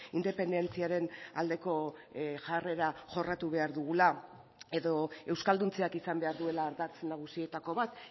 independentziaren aldeko jarrera jorratu behar dugula edo euskalduntzeak izan behar duela ardatz nagusietako bat